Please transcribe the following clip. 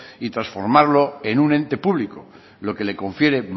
y transformarlo en un ente público lo que le confiere